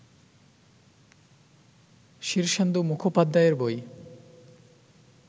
শীর্ষেন্দু মুখোপাধ্যায়ের বই